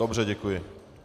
Dobře, děkuji.